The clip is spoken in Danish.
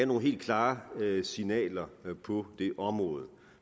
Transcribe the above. nogle helt klare signaler på det her område